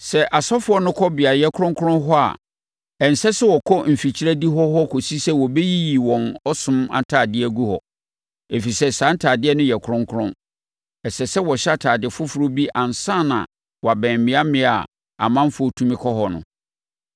Sɛ asɔfoɔ no kɔ beaeɛ kronkron hɔ, a ɛnsɛ sɛ wɔkɔ mfikyire adihɔ hɔ kɔsi sɛ wɔbɛyiyi wɔn ɔsom ntadeɛ agu hɔ, ɛfiri sɛ saa ntadeɛ no yɛ kronkron. Ɛsɛ sɛ wɔhyɛ ntadeɛ foforɔ bi ansa na wɔabɛn mmeammea a ɔmanfoɔ tumi kɔ hɔ no.”